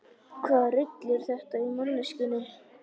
Hvaða rugl er þetta í manneskjunni?